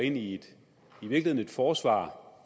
ind i et forsvar